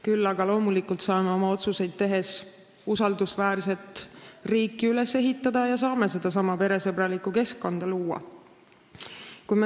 Küll aga saame loomulikult oma otsuseid tehes usaldusväärset riiki üles ehitada ja sedasama peresõbralikku keskkonda luua.